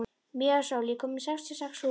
Maísól, ég kom með sextíu og sex húfur!